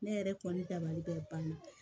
Ne yɛrɛ kɔni dabalibɛ banna